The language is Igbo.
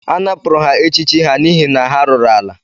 A napụrụ ha echiche ha n’ihi na ha rụrụ ala